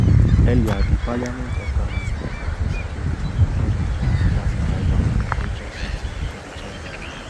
earlier di parliament of ghana bin tigh ten security ahead of lawmakers arrival for major sitting for di chambers